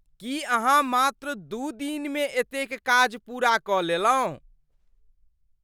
की अहाँ मात्र दू दिनमे एतेक काज पूरा कऽ लेलहुँ?